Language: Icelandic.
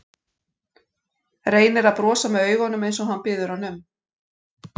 Reynir að brosa með augunum eins og hann biður hana um.